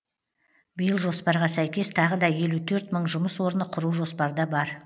биыл жоспарға сәйкес тағы да елу төрт мың жұмыс орны құру жоспарда бар